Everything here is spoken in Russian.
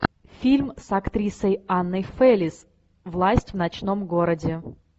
фильм с актрисой анной фэрис власть в ночном городе